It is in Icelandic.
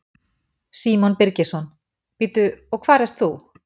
Símon Birgisson: Bíddu, og hvar ert þú?